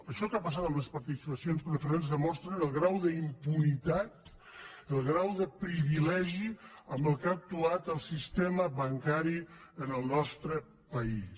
això que ha passat amb les participacions preferents demostra el grau d’impunitat el grau de privilegi amb què ha actuat el sistema bancari en el nostre país